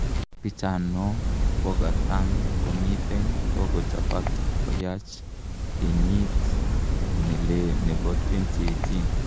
Piichano kokatang komiten kokochapak koyach kyeyit ne lee nepo 2018